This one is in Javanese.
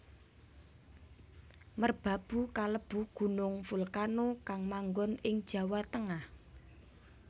Merbabu kalebu gunung volcano kang manggon ing Jawa Tengah